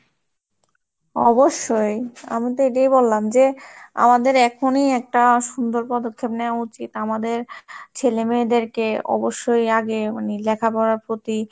অবশ্যই আমাদের এটাই বললাম যে আমাদের এখনই একটা সুন্দর পদক্ষেপ নেওয়া উচিত, আমাদের ছেলে মেয়েদেরকে অবশ্যই আগে উনি লেখাপড়ার প্রতি,